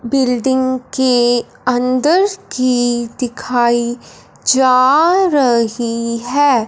Building के अंदर की दिखाई जा रही है।